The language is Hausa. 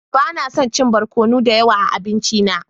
Ba na son chin barkono da yawa a abinci na.